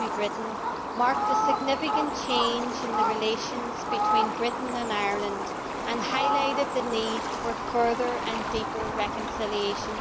Higgins, to Britain marked a significant change in the relations between Britain and Ireland and highlighted the need for further and deeper reconciliation.